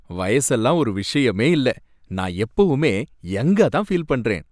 வயசெல்லாம் ஒரு விஷயமே இல்ல. நான் எப்போவுமே யங்கா தான் ஃபீல் பண்றேன்.